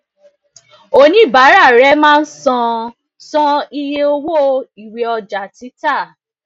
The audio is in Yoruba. oníbàárà rẹ máa ń san san iye owó ìwé ọjà títà